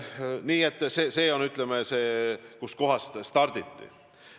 Nii et see on koht, kust starditi.